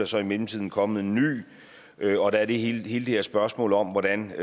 så i mellemtiden kommet en ny og der er det hele det her spørgsmål om hvordan